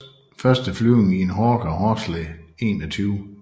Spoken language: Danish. Første flyvning i en Hawker Horsley 21